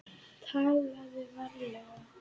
TALAÐU VARLEGA